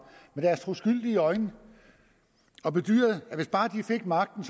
med deres troskyldige øjne og bedyrede at hvis bare de fik magten